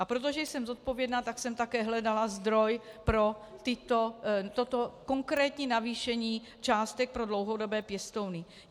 A protože jsem zodpovědná, tak jsem také hledala zdroj pro toto konkrétní navýšení částek pro dlouhodobé pěstouny.